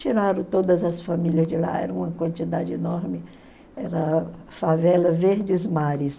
Tiraram todas as famílias de lá, era uma quantidade enorme, era a favela Verdes Mares.